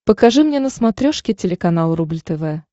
покажи мне на смотрешке телеканал рубль тв